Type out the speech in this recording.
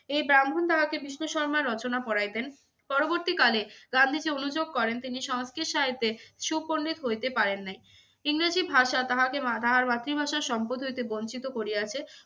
এই ব্রাহ্মণ তাহাকে বিষ্ণু শর্মার রচনা পড়াইতেন। পরবর্তী কালে গান্ধীজী অনুযোগ করেন তিনি সংস্কৃত সাহিত্যে সুপণ্ডিত হইতে পারেন নাই। ইংরেজি ভাষা তাহাকে মা~ তাহার মাতৃভাষার সম্পদ হইতে বঞ্চিত করিয়াছে।